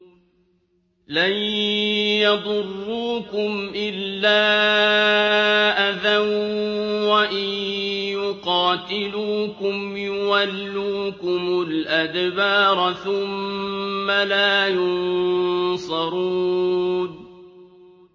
لَن يَضُرُّوكُمْ إِلَّا أَذًى ۖ وَإِن يُقَاتِلُوكُمْ يُوَلُّوكُمُ الْأَدْبَارَ ثُمَّ لَا يُنصَرُونَ